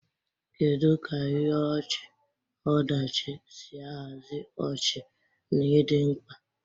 Kedu ka ihe ọchị-ọdachi si ahazi ọchị na ịdị mkpa?